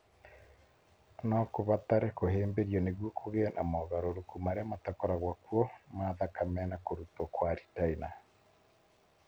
No kũbatare kũhĩmbĩrio nĩguo kũgĩe na mogarũrũku marĩa matakoragwo kuo ma thakame na kũrutwo kwa retina.